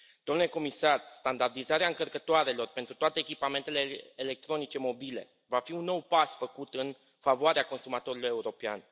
Domnule comisar, standardizarea încărcătoarelor pentru toate echipamentele electronice mobile va fi un nou pas făcut în favoarea consumatorului european.